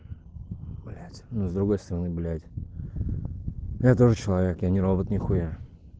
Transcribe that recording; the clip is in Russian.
блядь ну с другой стороны блять я тоже человек я не робот нихуя